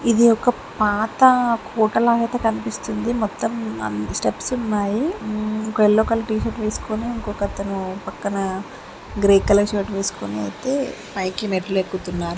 ఇది ఒక్క పాతకోటలా ఒక కనిపిస్తుంది. మొత్తం అమ్ స్టెప్స్ ఉన్నాయి. ఒకతని యెల్లో కలర్ టీ షర్ట్ వేసుకొని ఇంకొకతను పక్కన గ్రే కలర్ షర్ట్ వేసుకొని అయితే పైకి మెట్లు ఎక్కుతున్నారు.